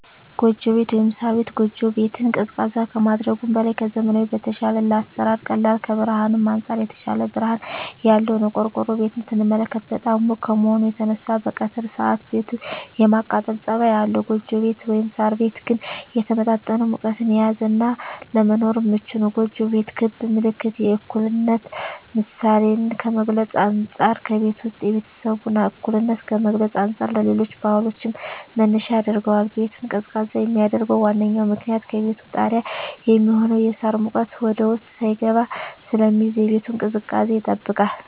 ጎጆ ቤት(ሳር ቤት)። ጎጆ ቤት ቤትን ቀዝቃዛ ከማድረጉም በላይ ከዘመናዊዉ በተሻለ ለአሰራር ቀላል ከብርሀንም አንፃር የተሻለ ብርሀን ያለዉ ነዉ። ቆርቆሮ ቤትን ስንመለከት በጣም ሙቅ ከመሆኑ የተነሳ በቀትር ሰአት ቤቱ የማቃጠል ፀባይ አለዉ ጎጆ ቤት (ሳር ቤት) ግን የተመጣጠነ ሙቀትን የያዘ እና ለመኖርም ምቹ ነዉ። ጎጆ ቤት ክብ ምልክት የእኩልነት ምሳሌን ከመግልፁ አንፃ ከቤቱ ዉስጥ የቤተሰቡን እኩልነት ከመግለፅ አንፃር ለሌሎች ባህሎችም መነሻ ያደርገዋል። ቤቱን ቀዝቃዛ የሚያደርገዉ ዋነኛዉ ምክንያት ከቤቱ ጣሪያ የሚሆነዉ የሳር ሙቀት ወደዉስጥ ሳይስገባ ስለሚይዝ የቤቱን ቅዝቃዜ ይጠብቃል።